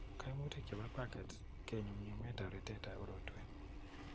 kaiumutik chebo pagets kenyunnyumee toreteet ap rotweet.